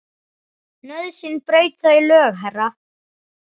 Nauðsyn braut þau lög, herra.